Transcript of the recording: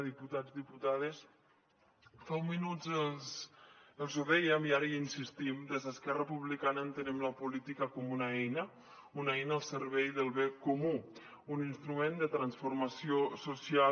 diputats diputades fa uns minuts els ho dèiem i ara hi insistim des d’esquerra republicana entenem la política com una eina una eina al servei del bé comú un instrument de transformació social